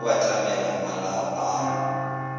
re o batamela malao a